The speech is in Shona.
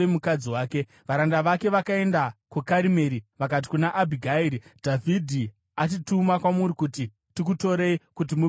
Varanda vake vakaenda kuKarimeri vakati kuna Abhigairi, “Dhavhidhi atituma kwamuri kuti tikutorei kuti muve mukadzi wake.”